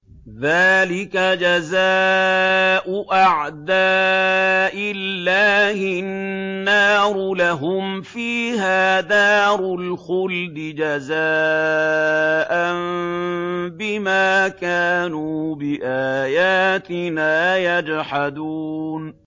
ذَٰلِكَ جَزَاءُ أَعْدَاءِ اللَّهِ النَّارُ ۖ لَهُمْ فِيهَا دَارُ الْخُلْدِ ۖ جَزَاءً بِمَا كَانُوا بِآيَاتِنَا يَجْحَدُونَ